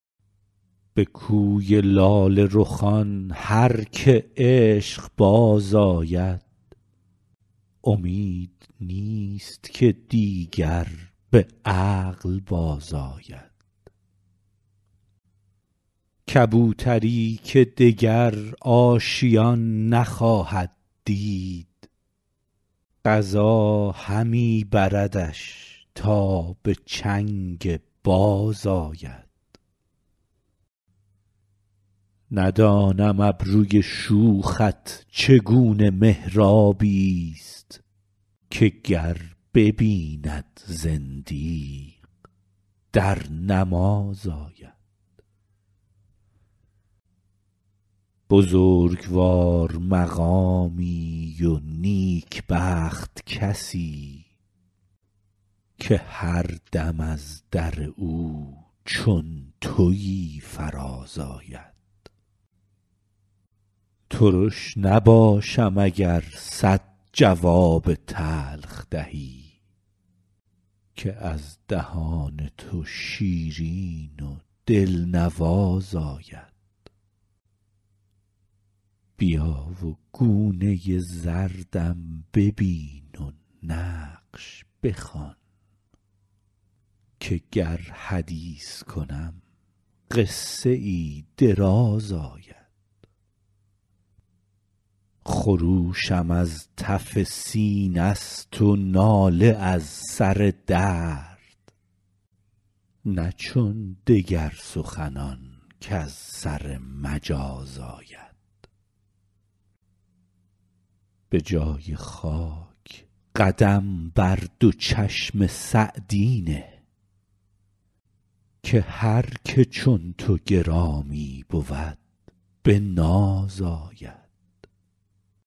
به کوی لاله رخان هر که عشق باز آید امید نیست که دیگر به عقل بازآید کبوتری که دگر آشیان نخواهد دید قضا همی بردش تا به چنگ باز آید ندانم ابروی شوخت چگونه محرابی ست که گر ببیند زندیق در نماز آید بزرگوار مقامی و نیکبخت کسی که هر دم از در او چون تویی فراز آید ترش نباشم اگر صد جواب تلخ دهی که از دهان تو شیرین و دلنواز آید بیا و گونه زردم ببین و نقش بخوان که گر حدیث کنم قصه ای دراز آید خروشم از تف سینه ست و ناله از سر درد نه چون دگر سخنان کز سر مجاز آید به جای خاک قدم بر دو چشم سعدی نه که هر که چون تو گرامی بود به ناز آید